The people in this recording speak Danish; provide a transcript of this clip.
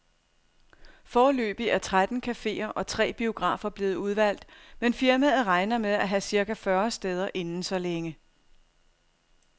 Foreløbig er tretten caféer og tre biografer blevet udvalgt, men firmaet regner med at have cirka fyrre steder inden så længe.